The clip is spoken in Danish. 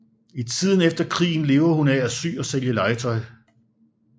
I tiden efter krigen lever hun af at sy og sælge legetøj